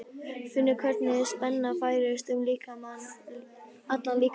Finnur hvernig spenna færist um allan líkamann.